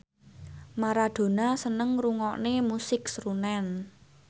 Maradona seneng ngrungokne musik srunen